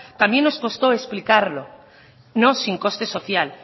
también nos costó explicarlo no sin coste social